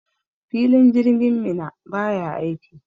Filin jirgin Minna baya aiki.